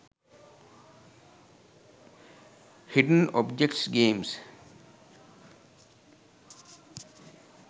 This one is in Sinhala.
hidden objects games